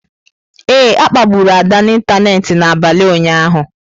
Ee, a kpagburu Ada n'ịntanetị n'abalị ụnyaahụ.